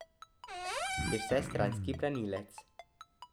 Je vsestranski branilec.